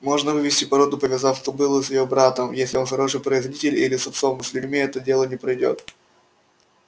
можно вывести породу повязав кобылу с её братом если он хороший производитель или с отцом но с людьми это дело не пройдёт